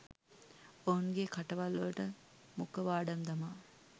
ඔවුන්ගේ කටවල්වලට මුඛවාඩම් දමා